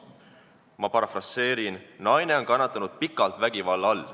Ma parafraseerin tema sõnu: naine on kannatanud pikalt vägivalla all.